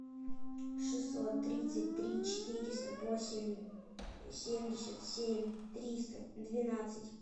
шестьсот тридцать три четыреста восемь семьдесят семь триста двенадцать